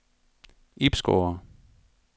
Ibsgårde